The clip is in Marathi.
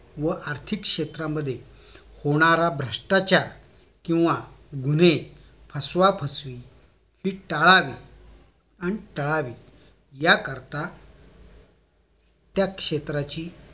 व आर्थिक क्षेत्रामध्ये होणारा भ्रष्टचार किंवा गुन्हे फसवाफसवी हि टाळावी अन टळावी या करीत त्या क्षेत्राची